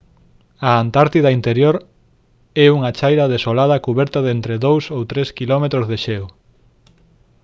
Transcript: a antártida interior é unha chaira desolada cuberta de entre 2 ou 3 quilómetros de xeo